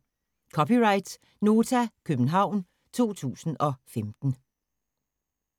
(c) Nota, København 2015